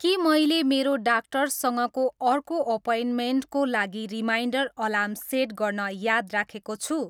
के मैले मेरो डाक्टरसँगको अर्को अपोइन्टमेन्टको लागि रिमाइन्डर अलार्म सेट गर्न याद राखेको छु?